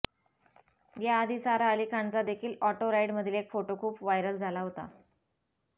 या आधी सारा अली खानचा देखील ऑटो राईड मधील एक फोटो खूप व्हायरल झाला होता